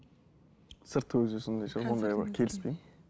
сырт көзге сондай шығар